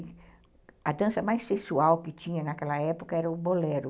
E a dança mais sexual que tinha naquela época era o bolero.